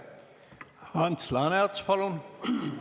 Ants Laaneots, palun!